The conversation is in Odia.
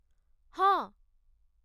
ହଁ।